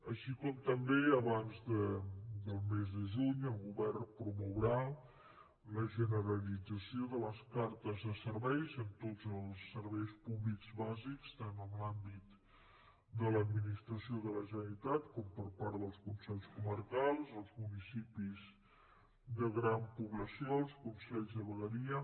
així com també abans del mes de juny el govern promourà la generalització de les cartes de serveis en tots els serveis públics bàsics tant en l’àmbit de l’administració de la generalitat com per part dels consells comarcals els municipis de gran població els consells de vegueria